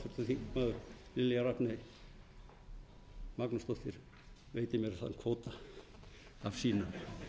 háttvirtir þingmenn lilja rafney magnúsdóttir veiti mér þann kvóta